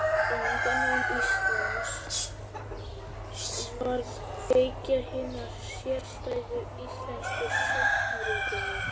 Landnám Íslands varð kveikja hinnar sérstæðu íslensku sagnaritunar.